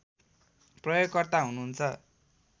प्रयोगकर्ता हुनुहुन्छ